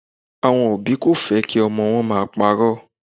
Àwọn òbí kò fẹ́ kí ọmọ wọn máa parọ́.